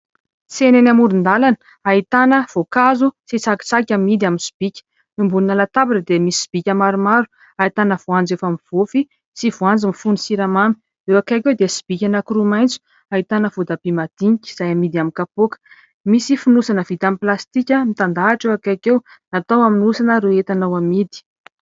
Tsena eny amoron-dalana ahitana voakazo sy tsakitsaky amidy amin'ny sobika, ambonina latabatra dia misy sobika maromaro hahitana voanjo efa mivofy sy voanjo mifono siramamy, eo ankaiky eo dia sobika nakoroa maintso hahitana vodabi madiniga izay amidy amin'ny kapoka misy finosana vidamin'i plastika mitandahitra eo ankaiko eo natao amin'ny osana reo etanao amidy